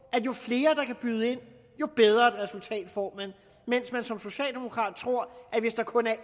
at jo flere der kan byde ind jo bedre resultat får man mens man som socialdemokrat tror at hvis der kun er